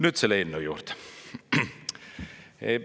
Nüüd selle eelnõu juurde.